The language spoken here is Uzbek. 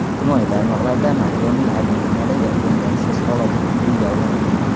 Ijtimoiy tarmoqlarda Makronning Argentinadagi o‘ng‘aysiz holati kulguga olindi.